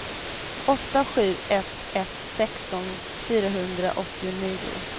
åtta sju ett ett sexton fyrahundraåttionio